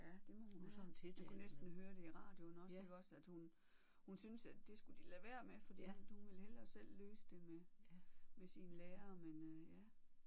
Ja det må hun have. Man kunne næsten høre det i radion også iggås at hun hun synes at det skulle de lade være med fordi at hun ville hellere selv løse det med med sine lærere men øh ja